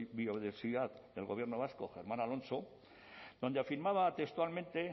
biodiversidad del gobierno vasco germán alonso donde afirmaba textualmente